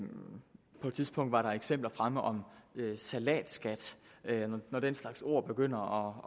tidspunkt var der eksempler fremme om salatskat når den slags ord begynder